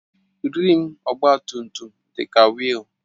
Rịịm ọgba tum tum dị ka wiil